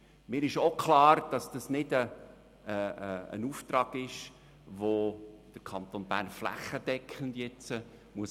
Mir ist auch klar, dass dies kein Auftrag ist, den der Kanton Bern nun flächendeckend anstreben muss.